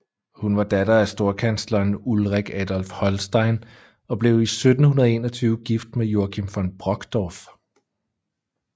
Hun var datter af storkansleren Ulrik Adolf Holstein og blev i 1721 gift med Joachim von Brockdorff